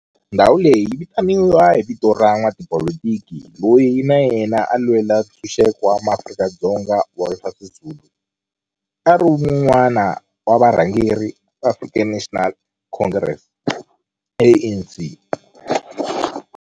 Ndhawo leyi yi vitaniwa hi vito ra n'watipolitiki loyi na yena a lwela ntshuxeko wa maAfrika-Dzonga Walter Sisulu, a ri wun'wana wa varhangeri va African National Congress, ANC.